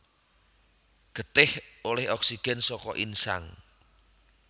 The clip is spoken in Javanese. Getih olih oksigen saka insang